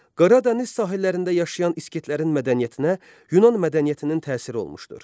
Qara dəniz sahillərində yaşayan İskitlərin mədəniyyətinə Yunan mədəniyyətinin təsiri olmuşdur.